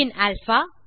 பின் alpha